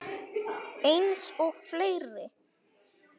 Eins og fleiri.